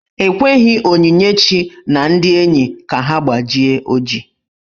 E kweghi Onyinyechi na ndị enyi ka ha gbajie ọjị.